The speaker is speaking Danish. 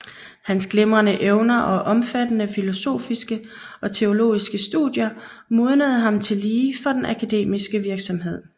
Hans glimrende evner og omfattende filosofiske og teologiske studier modnede ham tillige for den akademiske virksomhed